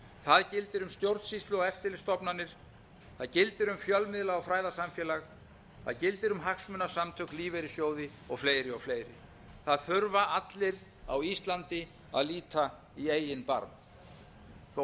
það gildir um stjórnsýslu og eftirlitsstofnanir það gildir um fjölmiðla og fræðasamfélag það gildir um hagsmunasamtök lífeyrissjóði og fleiri og fleiri það þurfa allir á íslandi að líta í eigin barm þó